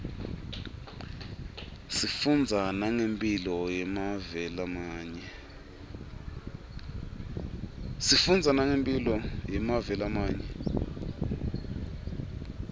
sifundza nangemphilo yemave lamanye